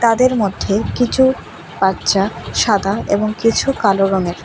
এদের মধ্যে কিছু বাচ্চা সাদা এবং কিছু কালো রঙের।